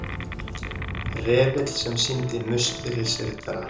Refill sem sýnir Musterisriddara.